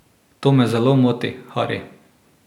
To me zelo moti, Hari.